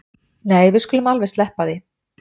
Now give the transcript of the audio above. Nei við skulum alveg sleppa því